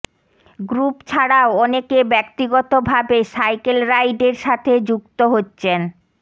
group ছাড়াও অনেকে ব্যক্তিগতভাবে সাইকেল রাইডের সাথে যুক্ত হচ্ছেন